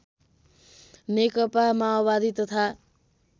नेकपा माओवादी तथा